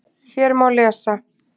Hér má lesa